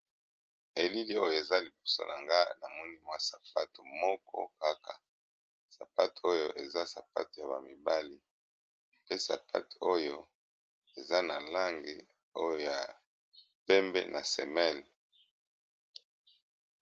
Elili oyo eza liposona nga na monimwa sapate moko kaka sapate oyo eza sapate ya bamibali pe sapate oyo eza na lange oyo ya pembe na semele